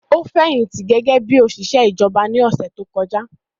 Ó fẹ̀yìntì gẹ́gẹ́ bí òṣìṣẹ́ ìjọba ní ọ̀sẹ̀ tó kọjá